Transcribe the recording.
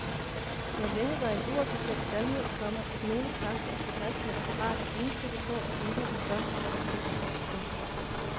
Det har længe været en uofficiel sandhed, komma at nogle kræfter i det herskende apparat er indstillet på at ændre den førte politik. punktum